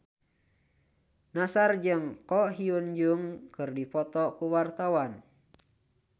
Nassar jeung Ko Hyun Jung keur dipoto ku wartawan